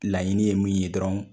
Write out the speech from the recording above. Laɲini ye mun ye dɔrɔn